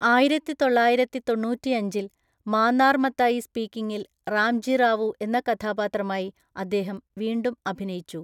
ആയിരത്തിതൊള്ളായിരത്തിതൊണ്ണൂറ്റിയഞ്ചില്‍ മാന്നാർ മത്തായി സ്പീക്കിംഗിൽ റാംജി റാവു എന്ന കഥാപാത്രമായി അദ്ദേഹം വീണ്ടും അഭിനയിച്ചു.